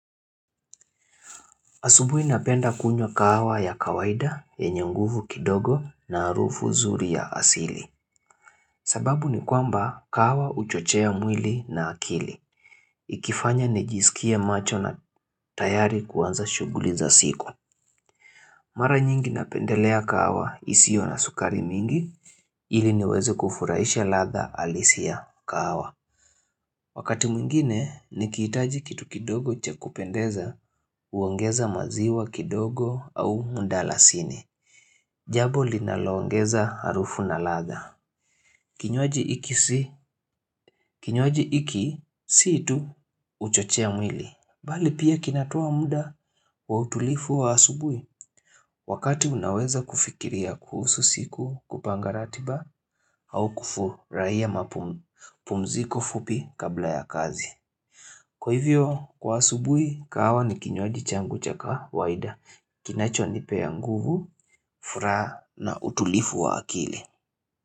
Asubuhi napenda kunywa kahawa ya kawaida yenye nguvu kidogo na harufu zuri ya asili. Sababu ni kwamba kahawa huchochea mwili na akili. Ikifanya nijisikie macho na tayari kuanza shughuli za siku. Mara nyingi napendelea kahawa isiyo na sukari mingi ili niweze kufurahisha ladha halisi ya kahawa. Wakati mwingine nikihitaji kitu kidogo cha kupendeza huongeza maziwa kidogo au mdalasini. Jambo linalongeza harufu na ladha. Kinywaaji hiki si kinywaji hiki si tu huchochea mwili. Bali pia kinatoa muda wa utulivu wa asubuhi. Wakati unaweza kufikiria kuhusu siku kupanga ratiba au kufurahia mapumziko fupi kabla ya kazi. Kwa hivyo, kwa asubuhi, kahawa ni kinywaji changu cha kawaida. Kinachonipea nguvu, furaha na utulivu wa akili.